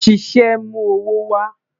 Ṣiṣẹ mu owo wa